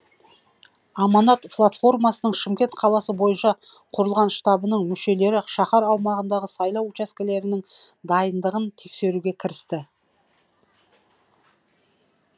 аманат платформасының шымкент қаласы бойынша құрылған штабының мүшелері шаһар аумағындағы сайлау учаскелерінің дайындығын тексеруге кірісті